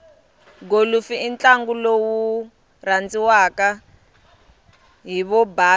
golofu intlangu lowurandziwaka hhivobhasa